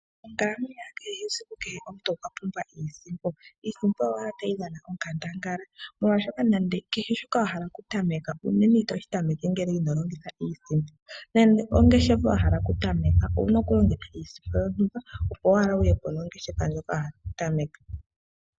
Monkalamwenyo ya kehe esiku omuntu okwa pumbwa iisimpo. Iisimpo oya simana noonkondo molwaashoka kehe shoka wa hala okutameka onene itoshi tameke kunasha iimaliwa nande ongeshefa wa hala okutameka owuna oku kala wuna iimaliwa.